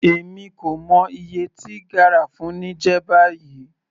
Èmi kò mọ iye tí garafuni jẹ́ báyìí.